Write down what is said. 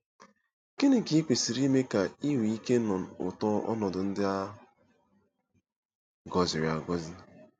Gịnị ka i kwesịrị ime ka i nwee ike ịnụ ụtọ ọnọdụ ndị a gọziri agọzi?